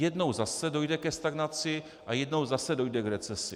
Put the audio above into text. Jednou zase dojde ke stagnaci a jednou zase dojde k recesi.